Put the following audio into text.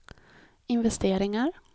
investeringar